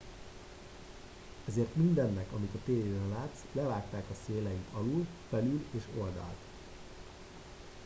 ezért mindennek amit a tévében látsz levágták a széleit alul felül és oldalt